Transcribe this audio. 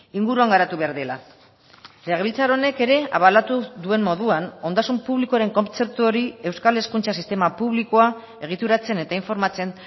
inguruan garatu behar dela legebiltzar honek ere abalatu duen moduan ondasun publikoaren kontzeptu hori euskal hezkuntza sistema publikoa egituratzen eta informatzen